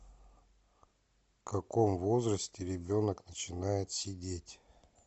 в каком возрасте ребенок начинает сидеть